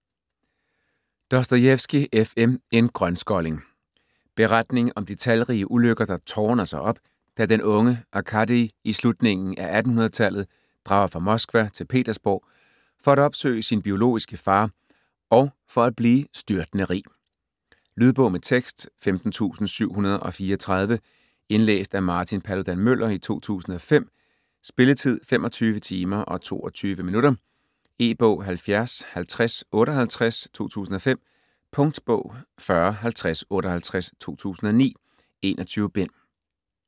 Dostojevskij, F. M.: En grønskolling Beretning om de talrige ulykker der tårner sig op, da den unge Arkadij i slutningen af 1800-tallet drager fra Moskva til Petersborg for at opsøge sin biologiske far og for at blive styrtende rig. Lydbog med tekst 15734 Indlæst af Martin Paludan Müller, 2005. Spilletid: 25 timer, 22 minutter. E-bog 705058 2005. Punktbog 405058 2009. 21 bind.